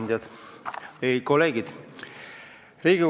Head kolleegid!